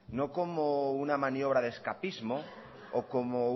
no como una maniobra de escapismo o como